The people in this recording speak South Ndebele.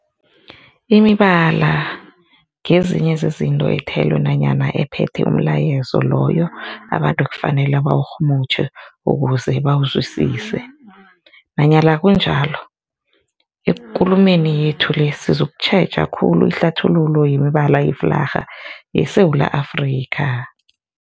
Imibala ngezinye zezinto ethelwe nanyana ephethe umlayezo loyo abantu ekufanele bawurhumutjhe ukuze bawuzwisise. Nanyana kunjalo, ekulumeni yethu le sizokutjheja khulu ihlathululo yemibala yeflarha yeSewula Afrika.